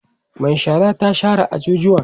Mai shara ta share ajujuwan